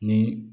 Ni